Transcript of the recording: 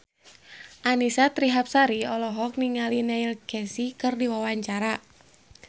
Annisa Trihapsari olohok ningali Neil Casey keur diwawancara